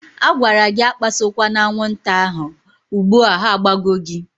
A gwara gị akpasokwa aṅwụnta ahụ, ugbua ha agbago gị!